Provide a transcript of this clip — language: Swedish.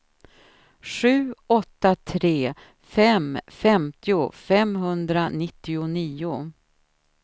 sju åtta tre fem femtio femhundranittionio